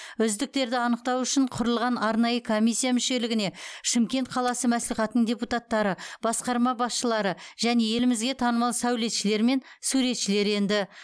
үздіктерді анықтау үшін құрылған арнайы комиссия мүшелігіне шымкент қаласы мәслихатының депутаттары басқарма басшылары және елімізге танымал сәулетшілер мен суретшілер енді